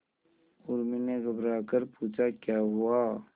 उर्मी ने घबराकर पूछा क्या हुआ